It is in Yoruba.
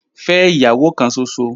Fe iyawo kan ṣoṣo.